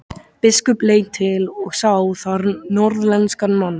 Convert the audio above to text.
Biskup leit til og sá þar norðlenskan mann.